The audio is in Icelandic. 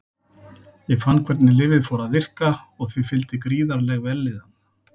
Ég fann hvernig lyfið fór að virka og því fylgdi gríðarleg vellíðan.